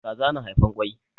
Kaza na haifan kwai.